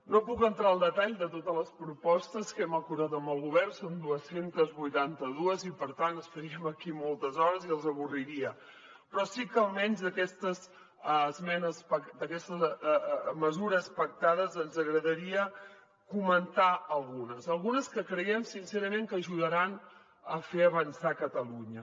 no puc entrar en el detall de totes les propostes que hem acordat amb el govern són dos cents i vuitanta dos i per tant estaríem aquí moltes hores i els avorriria però sí que almenys d’aquestes mesures pactades ens agradaria comentar ne algunes algunes que creiem sincerament que ajudaran a fer avançar catalunya